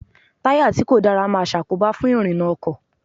Táyà tí kò dára máa ṣàkóbá fún ìrìnà ọkọ̀.